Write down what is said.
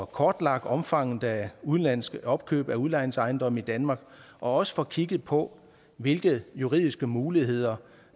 kortlagt omfanget af udenlandske opkøb af udlejningsejendomme i danmark og også får kigget på hvilke juridiske muligheder